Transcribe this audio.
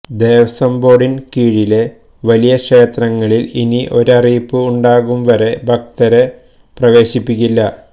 ദേവസ്വം ബോര്ഡിന് കീഴിലെ വലിയ ക്ഷേത്രങ്ങളില് ഇനി ഒരറിയിപ്പ് ഉണ്ടാവും വരെ ഭക്തരെ പ്രവേശിപ്പിക്കില്ല